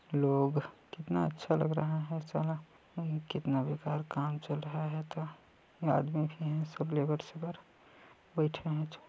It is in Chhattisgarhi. लोग कितना अच्छा लग रहा है साला कितना बेकार काम चल रहा है त ये आदमी भी हैं सब लेबर सेबर बैठे हैं।